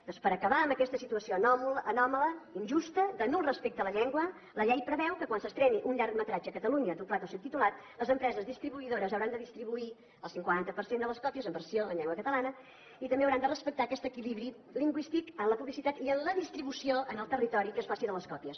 doncs per acabar amb aquesta situació anòmala injusta de nul respecte a la llengua la llei preveu que quan s’estreni un llargmetratge a catalunya doblat o subtitulat les empreses distribuïdores hauran de distribuir el cinquanta per cent de les còpies en versió en llengua catalana i també hauran de respectar aquest equilibri lingüístic en la publicitat i en la distribució en el territori que es faci de les còpies